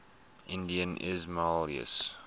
indian ismailis